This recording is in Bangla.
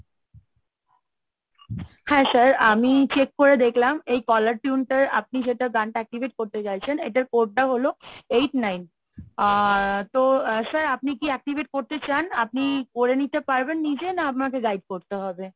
হ্যাঁ sir আমি check করে দেখলাম এই caller tune টার আপনি যেটা গানটা activate করতে চাইছেন এটার code টা হলো eight nine আহ তো sir আপনি কি activate করতে চান? আপনি করে নিতে পারবেন নিজে না আপনাকে guide করতে হবে?